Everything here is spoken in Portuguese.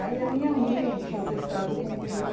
Aí a minha mãe tinha prestado concurso.